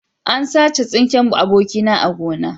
An sace tsinken abokina a gona